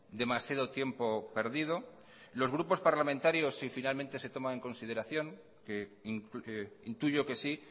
demasiado tiempo perdido los grupos parlamentarios si finalmente se toma en consideración que intuyo que sí